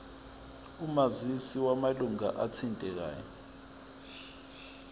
omazisi wamalunga athintekayo